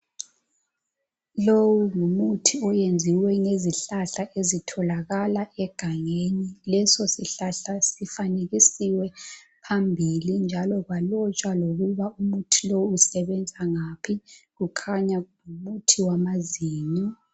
lowu ngumuthi oyenziwa ngezihlahla ezithola kala egangeni leso sihlahla sifanekisiwe phambili njalo kwalotshwa ukuba umuthi lowu usebenza ngaphi kukhanya kungumuthi wamazinyo.